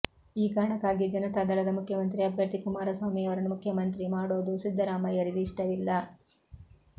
ಈ ಕಾರಣಕ್ಕಾಗಿಯೇ ಜನತಾ ದಳದ ಮುಖ್ಯಮಂತ್ರಿ ಅಭ್ಯರ್ಥಿ ಕುಮಾರ ಸ್ವಾಮಿಯವರನ್ನು ಮುಖ್ಯಮಂತ್ರಿ ಮಾಡೋದು ಸಿದ್ದರಾಮಯ್ಯರಿಗೆ ಇಷ್ಟವಿಲ್ಲ